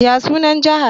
Ya sunan Jihar?